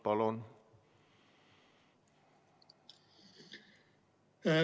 Palun!